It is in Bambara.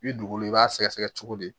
I bi dugukolo i b'a sɛgɛsɛgɛ cogo di